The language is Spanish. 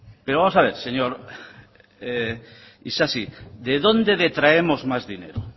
pero vamos a ver señor isasi de dónde detraemos más dinero